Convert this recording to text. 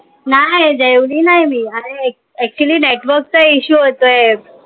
नाय जेवली नाय मी actually network चा issue होतोय.